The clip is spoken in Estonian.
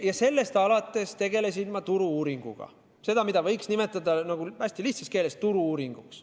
Ja sellest alates tegelesin ma turu-uuringuga – tööga, mida võiks hästi lihtsas keeles nimetada turu-uuringuks.